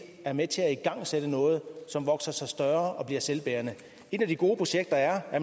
er med til at igangsætte noget som vokser sig større og bliver selvbærende et af de gode projekter er at